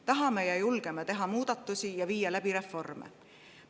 Tahame ja julgeme teha muudatusi ja viia reforme.